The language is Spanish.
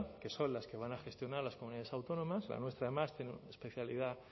que son las que van a gestionar las comunidades autónomas la nuestra además tiene una especialidad